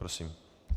Prosím.